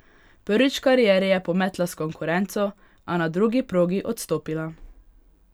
Prvič v karieri je pometla s konkurenco, a na drugi progi odstopila.